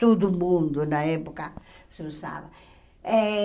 Todo mundo na época se usava. Eh